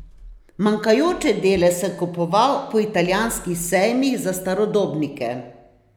Manjkajoče dele sem kupoval po italijanskih sejmih za starodobnike.